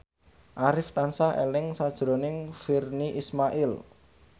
Arif tansah eling sakjroning Virnie Ismail